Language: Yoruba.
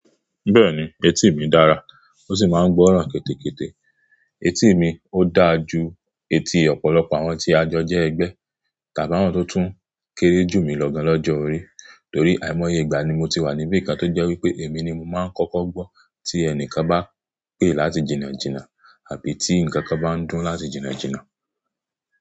Bẹ́ẹ̀ni, etí mi dára ó sì máa ń gbọ́ràn kẹ́tẹ́kẹ́tẹ́. Etí mi ó dáa ju etí ọ̀pọ̀lọpọ̀ àwọn tí a jọ jẹ́ ẹgbẹ́, tàbí àwọn tó tún kéré jù mí lọ gan lọ́jọ́ orí, torí àìmọye ìgbà ni mo ti wà níbí kan tó jẹ́ wípé èmi ni mo máa ń kọ́kọ́ gbọ́ tí ẹnìkan bá pè láti jìnnà jìnnà àbí tí nǹkan kan bá ń dún láti jìnnà jìnnà.